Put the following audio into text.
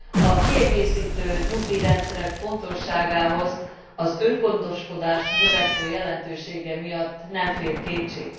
A kiegészítő nyugdíjrendszerek fontosságához az öngondoskodás növekvő jelentősége miatt nem fér kétség.